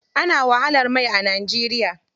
Ana wahalar mai a Najeriya.